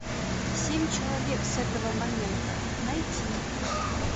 семь человек с этого момента найти